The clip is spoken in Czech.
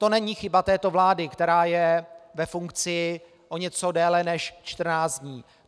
To není chyba této vlády, která je ve funkci o něco déle než 14 dní.